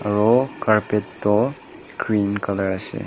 aru carpet tu green colour ase.